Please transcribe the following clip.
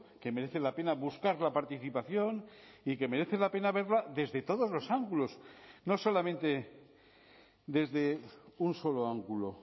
que merece la pena buscar la participación y que merece la pena verla desde todos los ángulos no solamente desde un solo ángulo